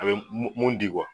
A be mun mun di